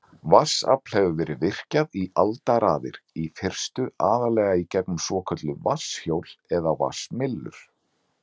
Vatnsafl hefur verið virkjað í aldaraðir, í fyrstu aðallega í gegnum svokölluð vatnshjól eða vatnsmyllur.